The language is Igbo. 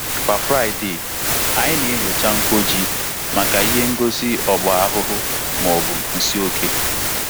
Kwa Fraịde, anyị na-enyocha mkpọ ji maka ihe ngosi ọgba ahụhụ ma ọ bụ nsị oke.